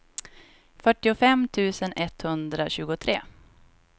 fyrtiofem tusen etthundratjugotre